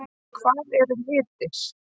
Hvað eru litir?